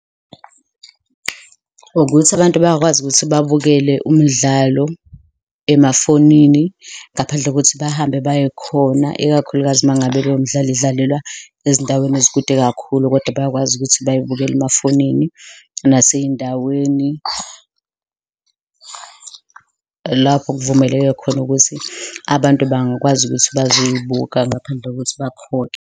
Ukuthi abantu bayakwazi ukuthi babukele umdlalo emafonini ngaphandle kokuthi bahambe baye khona, ikakhulukazi uma ngabe lowo mdlalo idlalelwa ezindaweni ezikude kakhulu kodwa bayakwazi ukuthi babukele emafonini nasey'ndaweni, lapho kuvumeleke khona ukuthi abantu bangakwazi ukuthi bazoyibuka ngaphandle kokuthi bakhokhe.